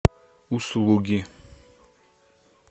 услуги